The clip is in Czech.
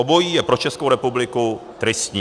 Obojí je pro Českou republiku tristní.